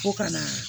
Ko ka na